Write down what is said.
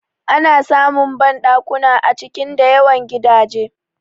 Ana samun banɗakuna a cikin da yawan gidaje